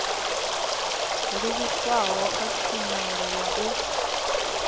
livhiswaho kha tshumelo ya u